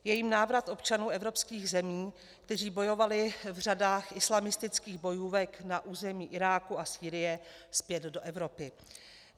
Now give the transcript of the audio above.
Je jím návrat občanů evropských zemí, kteří bojovali v řadách islamistických bojůvek na území Iráku a Sýrie, zpět do Evropy.